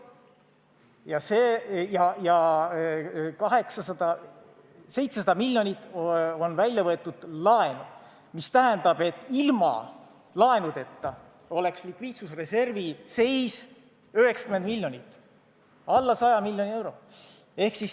Ja 700 miljonit on välja võetud laenu, mis tähendab, et ilma laenudeta oleks likviidsusreservi seis 90 miljonit ehk alla 100 miljoni euro.